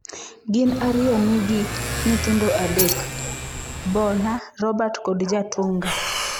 Gin ariyo nigi nyithindo adek: Bona, Robert kod Chatunga.